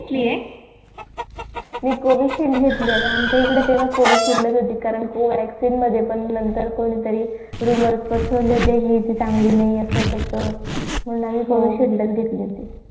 घेतली ये मी घेतली ये and आमच्या इकडे तेव्हा coveshiled च होती कारण Covaxin मध्ये पण नंतर कोणी तरी rumours पसरवले होते हि चांगली नई असं तसं पुन्हा म्हणून आम्ही coveshil चा घेतली होती